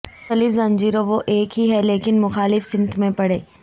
مختلف زنجیروں وہ ایک ہی ہے لیکن مخالف سمت میں پڑھیں